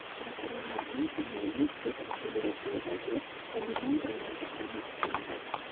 Prokurorlarning jinoiy sud ishi yurituvidagi dominant roli saqlanib qolingan”.